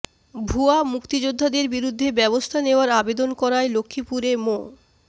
ভুয়া মুক্তিযোদ্ধাদের বিরুদ্ধে ব্যবস্থা নেয়ার আবেদন করায় লক্ষ্মীপুরে মো